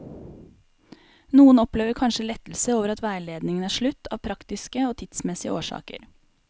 Noen opplever kanskje lettelse over at veiledningen er slutt av praktiske og tidsmessige årsaker.